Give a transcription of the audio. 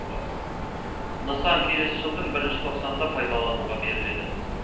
нысан келесі жылдың бірінші тоқсанында пайдалануға беріледі